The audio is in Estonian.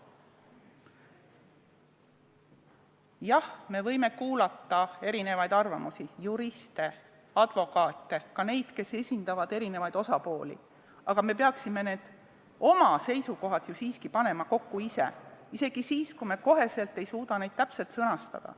Jah, me võime kuulata erinevaid arvamusi – juriste, advokaate, paljusid, kes esindavad erinevaid osapooli –, aga me peaksime oma seisukohad ju siiski panema kokku ise, isegi siis, kui me kohe ei suuda neid täpselt sõnastada.